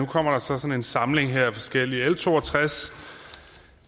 kommer der sådan en samling af forskellige sager l to og tres